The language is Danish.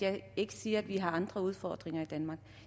jeg ikke siger at vi har andre udfordringer i danmark